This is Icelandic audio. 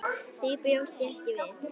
Því bjóst ég ekki við.